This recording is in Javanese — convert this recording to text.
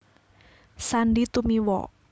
Sandy Tumiwa